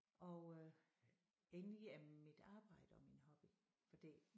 Og øh egentlig er mit arbejde også min hobby fordi